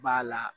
B'a la